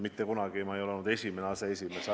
Mitte kunagi ma ei ole olnud esimene aseesimees.